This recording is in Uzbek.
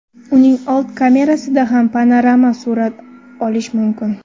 Uning old kamerasida ham panorama surat olish mumkin.